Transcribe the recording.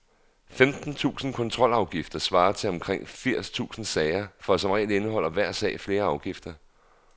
Femten tusinde kontrolafgifter svarer til omkring fire tusinde sager, for som regel indeholder hver sag flere afgifter.